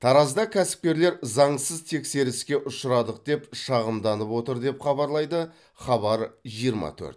таразда кәсіпкерлер заңсыз тексеріске ұшырадық деп шағымданып отыр деп хабарлайды хабар жиырма төрт